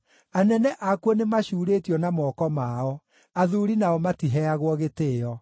Anene akuo nĩ macuurĩtio na moko mao; athuuri nao matiheagwo gĩtĩĩo.